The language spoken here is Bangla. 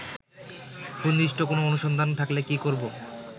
সুনির্দিষ্ট কোন অনুসন্ধান থাকলে কি করবো